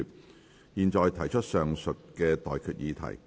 我現在向各位提出上述待決議題。